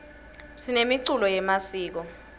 sinemiculo yemasiko